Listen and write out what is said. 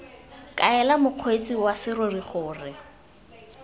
kaela mokgweetsi wa serori gore